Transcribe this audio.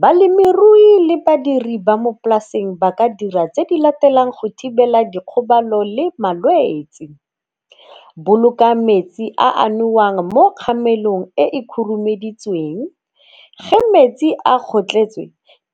Balemirui le badiri ba mo polaseng ba ka dira tse di latelang go thibela dikgobalo le malwetsi. Boloka metsi a a nowang mo kgamelong e e khurumeditsweng. Ge metsi a kgotlhetswe,